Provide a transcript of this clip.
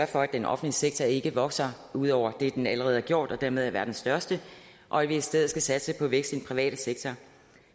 for at den offentlige sektor ikke vokser ud over det den allerede har gjort og dermed er verdens største og at vi i stedet skal satse på vækst i den private sektor